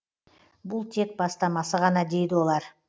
бұл тек бастамасы ғана дейді олар